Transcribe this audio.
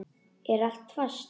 Er allt fast?